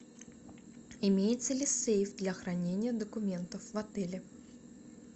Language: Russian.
имеется ли сейф для хранения документов в отеле